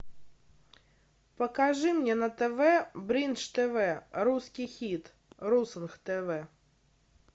покажи мне на тв бридж тв русский хит русонг тв